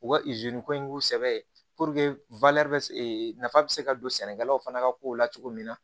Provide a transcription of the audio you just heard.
U ka ko in k'u sɛbɛ ye bɛ nafa bɛ se ka don sɛnɛkɛlaw fana ka kow la cogo min na